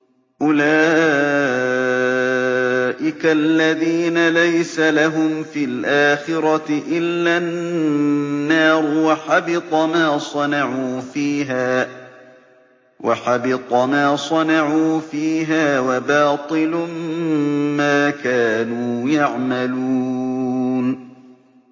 أُولَٰئِكَ الَّذِينَ لَيْسَ لَهُمْ فِي الْآخِرَةِ إِلَّا النَّارُ ۖ وَحَبِطَ مَا صَنَعُوا فِيهَا وَبَاطِلٌ مَّا كَانُوا يَعْمَلُونَ